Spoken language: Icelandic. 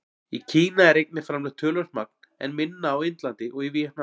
Í Kína er einnig framleitt töluvert magn, en minna á Indlandi og í Víetnam.